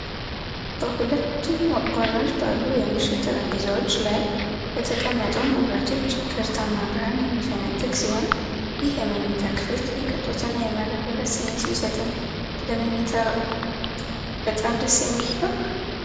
በሁለቱም ጎኖች ባሉ የምሽት ጠረጴዛዎች ላይ በተቀመጡ መብራቶች ገርጣማ ብርሃን የሚፈነጥቅ ሲሆን፣ ይህ የመኝታ ክፍል የቅንጦትና የመረጋጋት ስሜት ቢሰጥም ለመተኛት በጣም ደስ የሚል ይሆን?